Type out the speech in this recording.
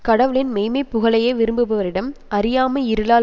கடவுளின் மெய்மைப் புகழையே விரும்புபவரிடம் அறியாமை இருளால்